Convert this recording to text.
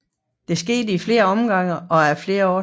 Det skete i flere omgange og af flere årsager